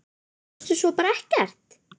Sástu svo bara ekkert?